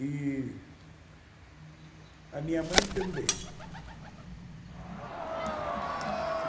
E a minha mãe também. U